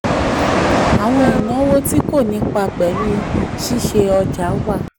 àwọn ìnáwó tí kò nípa pẹ̀lú ṣíṣe ọjà wà.